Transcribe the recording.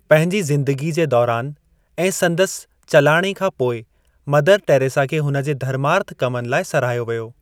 पंहिजी ज़िन्दगी जे दौरान ऐं सन्दसि चलाणे खां पोइ मदर टेरेसा खे हुन जे धर्मार्थ कमनि लाइ सराहियो वियो।